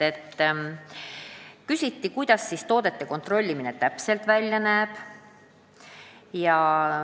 Küsiti, kuidas toodete kontrollimine täpselt käib.